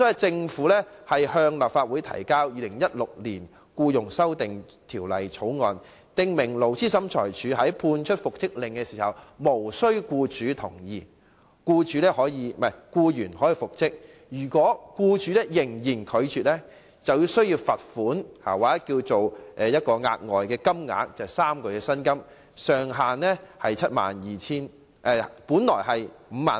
政府向立法會提交《2016年僱傭條例草案》，訂明勞資審裁處作出復職的命令時，無須僱主同意，僱員也可復職；如果僱主仍然拒絕，須支付等於僱員3個月薪金的額外款項，而上限是5萬元。